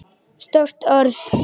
Stórt orð.